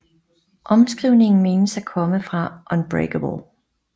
Omskrivningen menes at komme fra UNBREAKABLE